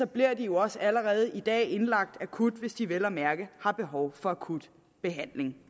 bliver de jo også allerede i dag indlagt akut hvis de vel at mærke har behov for akut behandling